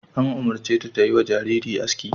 An umurce ta ta yi wa jaririn aski!